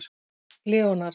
Leonard